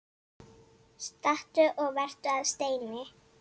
Stattu og vertu að steini